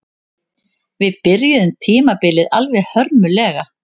Við byrjuðum tímabilið alveg hörmulega